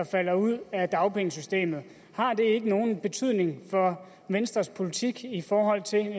falder ud af dagpengesystemet ikke nogen betydning for venstres politik i forhold til